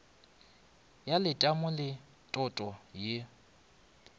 ya letamo le toto ya